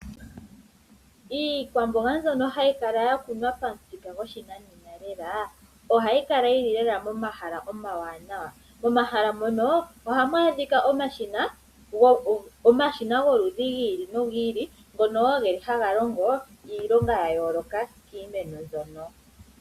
Iikwamboga mbyono hayi kala ya kunwa pamuthika goshinanena lela ohayi kala yi li lela momahala omawanawa, momahala mono ohamu adhika omashina gomaludhi gi ili nogi ili ngono wo haga longo iilonga ya yooloka kiimeno mbyoka.